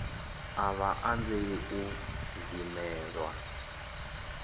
a vha anzeli u dzimelwa